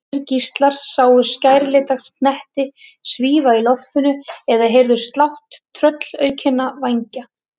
Aðrir gíslar sáu skærlita hnetti svífa í loftinu eða heyrðu slátt tröllaukinna vængja.